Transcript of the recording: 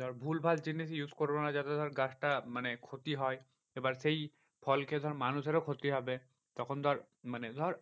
ধর ভুলভাল জিনিস use করবো না যাতে ধর গাছটা মানে ক্ষতি হয়। এবার সেই ফল খেয়ে ধর মানুষেরও ক্ষতি হবে। তখন ধর মানে ধর